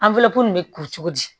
nin bɛ kuru cogo di